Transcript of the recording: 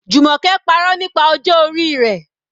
Jumoke parọ́ nípa ọjọ́ orí rẹ̀.